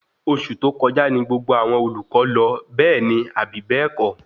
Oṣù tó kọjá ní gbogbo àwọn olùkọ lọ, bẹẹni Abi bẹ́ẹ̀kọ́?